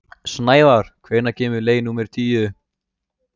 Snævarr, hvenær kemur leið númer tíu?